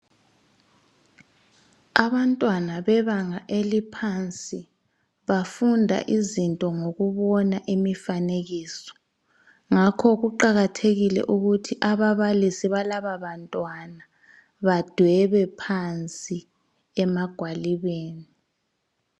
Abantwana bebanga eliphansi bafunda izinto ngokubona imifanekiso ngakho kuqakathekile ukuthi ababalisi balabo bantwana badwebe phansi emagwalibeni.